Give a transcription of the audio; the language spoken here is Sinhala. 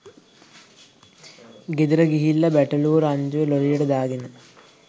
ගෙදර ගිහිල්ල බැටළුවො රංචුව ලොරියට දාගෙන